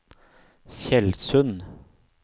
Tjeldsund